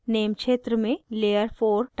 name क्षेत्र में layer four type करें